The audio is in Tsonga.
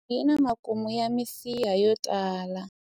thothonono yi na makumu ya misiha yo tala